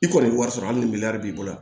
I kɔni ye wari sɔrɔ hali ni b'i bolo